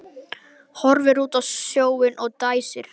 Horfir út á sjóinn og dæsir.